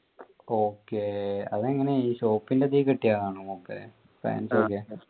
okay അതെങ്ങനെ ഈ shop ൻ്റെ അതി കിട്ടിയതാണോ മൂപ്പര് ബാംഗ്ലുരെ ആഹ്